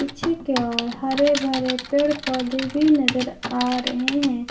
पीछे की ओर हरे भरे पेड़ पौधे भी नजर आ रहे हैं।